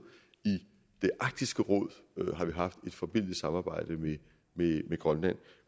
i arktisk råd har vi haft et forbilledligt samarbejde med grønland